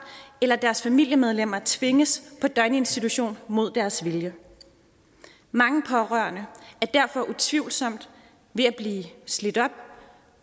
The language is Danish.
eller deres andre familiemedlemmer tvinges på døgninstitution mod deres vilje mange pårørende er derfor utvivlsomt ved at blive slidt op